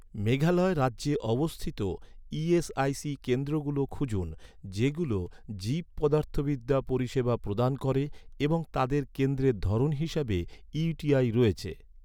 মেঘালয় রাজ্যে অবস্থিত ই.এস.আই.সি কেন্দ্রগুলো খুঁজুন, যেগুলো জীবপদার্থবিদ্যা পরিষেবা প্রদান করে এবং তাদের কেন্দ্রের ধরন হিসাবে ইউ.টি.আই রয়েছে৷